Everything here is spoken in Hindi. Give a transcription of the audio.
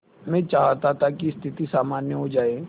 मैं चाहता था कि स्थिति सामान्य हो जाए